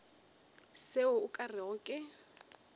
seo o ka rego ke